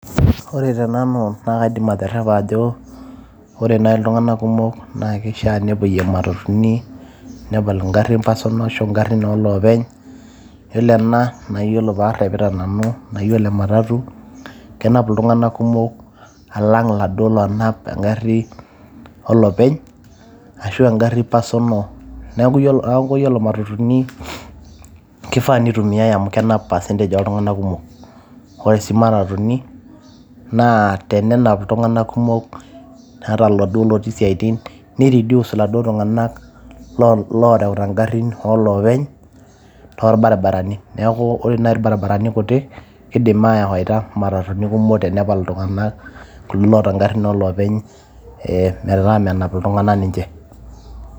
ore tenanu naa kaidim aterepa ajo , ore nai iltunganak kumok naa kishaa nepuoyie matatuni ,nepal ingal personal ashu ingarin oloopeny. yiolo ena naa iyiolo parepita nanu naa iyiolo ematatu kenapu iltunganak kumok alang iladuo lonap engari olopeny ashu engari personal . niaku iyiolo matatuni kifaa nitumiae amu kenap percentage oltunganaka kumok .